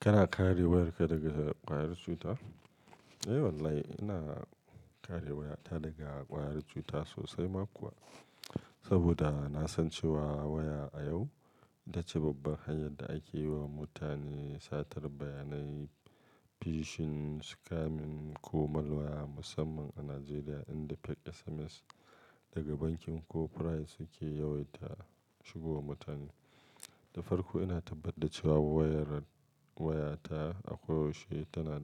Kana kare wayarka daga ƙwayar cuta? Eh wallahi ina kare wayata daga ƙwayar cuta sosai ma kuwa. Saboda na san cewa waya a yau ita ce babban hanyar da ake yiwa mutane satar bayanai, phishing, scamming ko malware musamman a Najeriya inda fake SMS daga bankin ko pry suke yawaita shigowa mutane. Da farko ina tabbatar da cewa wayar wayata ako yaushe tana,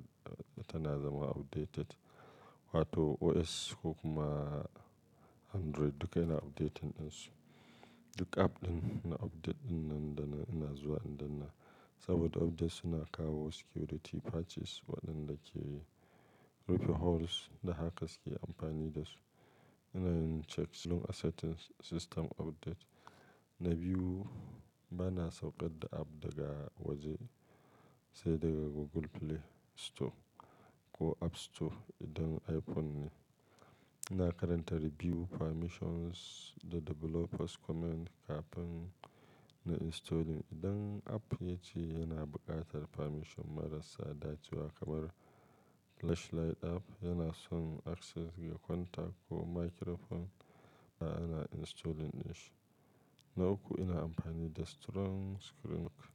tana zama updated wato OS ko kuma Android duka yana updating ɗinsu. Duk app ɗin na update ɗin nan da nan, ina zuwa in danna. Saboda updates suna kawo security patches waɗanda ke rufe holes da hackers ke amfani da su. Ina yin checks don accepting system update. Na biyu ba na sauƙar da app daga waje sai daga Google Play Store ko App Store idan iPhone ne. Ina karanta review permissions da developers comment kafin nayi installing. Idan app ya ci yana buƙatar permission marasa dacewa kamar flashlight app yana son access ga contact ko microphone ba na installing ɗinshi. Na uku ina amfani da strong screen lock,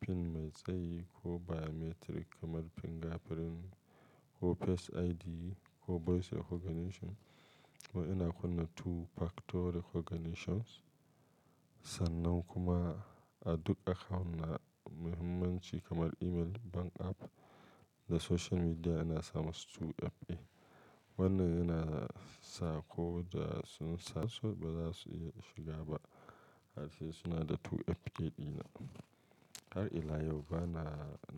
PIN mai tsayi ko biometric kamar fingerprint ko face ID ko voice recognition. Kuma ina kunna two factor recognitions. Sannan kuma a duk akawun na muhimmanci kamar email, bank app da social media ina sa musu 2FA. Wannan yana sa ko da sun sa su ba za su iya shiga ba. Har sai suna da 2FA ɗina. Har ila yau ba na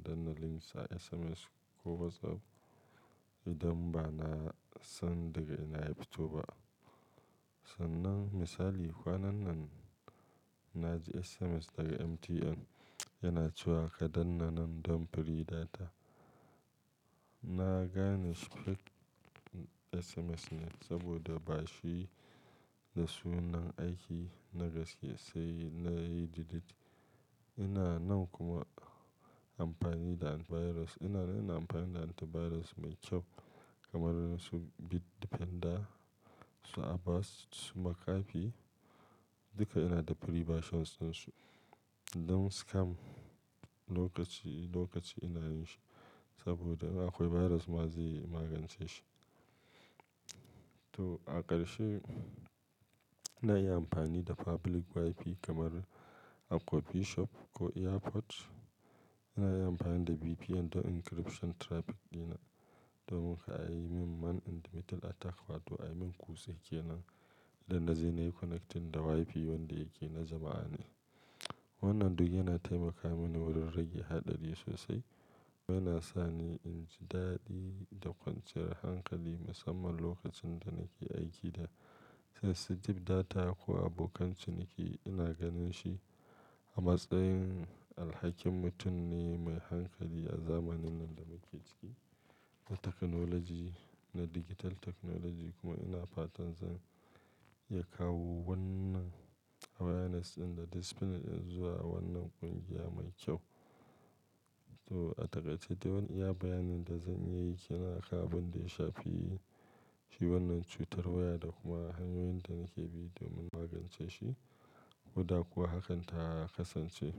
danna links a SMS ko WhatsApp idan ba na san daga ina ya fito ba. Sannan misali kwanan nan na ji SMS daga MTN yana cewa ka danna nan don free data. Na gane scam SMS ne saboda ba shi da sunan aiki na gaske sai na yi delete. Ina nan kuma amfani da antivirus. Ina, ina amfani da antivirus mai kyau kamar su Bitdefender, su Avast, su McAfee duka ina da free versions ɗinsu. Don scam lokaci, lokaci ina yin shi saboda in akwai virus ma zai magance shi. To a ƙarshe ina yin amfani da public WiFi kamar a coffee shop ko airport. Ina yi amfani da VPN don encryption traffic ɗina domin kar ayi min man in the middle attack wato a yi min kutse kenan dan na je na yi connecting da WiFi wanda yake na jama'a ne. Wannan duk yana taimaka mini wurin rage haɗari sosai kuma yana sa ni in ji daɗi da kwanciyar hankali musamman lokacin da nake aiki da sensitive data ko abokan ciniki ina ganin shi a matsayin alhakin mutum ne mai hankali a zamanin nan da muke ciki na technology, na digital technology kuma ina fatan zan iya kawo wannan awareness ɗin da discipline ɗin zuwa wannan ƙungiya mai kyau. To a takaice dai wan iya bayanin da zan yi kenan a kan abin da ya shafi, shi wannan cutar waya da kuma hanyoyin da nake bi domin magance shi. Huda kuwa hakan ta kasance.